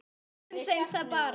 Kynnum þeim það bara.